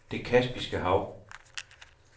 Det Kaspiske Hav